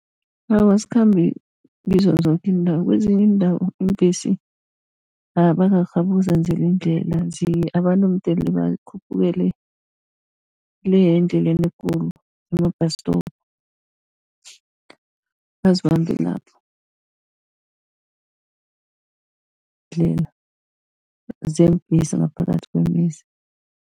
Awa, azikhambi kizo zoke iindawo, kezinye iindawo iimbhesi abakarhabi ukuzenzela indlela, abantu mdele bakhuphukele le endleleni ekhulu ema-bus stop azibambe lapho, ndlela zeembhesi ngaphakathi kwemizi.